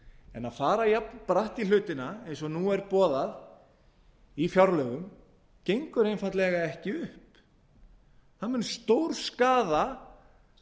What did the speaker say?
en að fara jafnbratt í hlutina eins og nú er boðað í fjárlögum gengur einfaldlega ekki upp það mun stórskaða